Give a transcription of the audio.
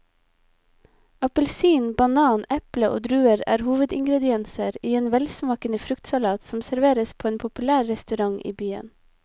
Appelsin, banan, eple og druer er hovedingredienser i en velsmakende fruktsalat som serveres på en populær restaurant i byen.